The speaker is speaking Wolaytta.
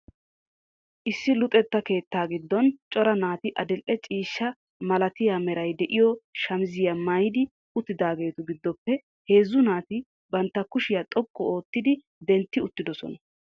Issi luxetta keettaa giddon cora naati adil"e ciishshaa malatiya meray de'iyo shamizziya maayidi uttidaageetu giddoppe heezzu naati bantta kushiya xoqqu oottidi dentti uttiddossona.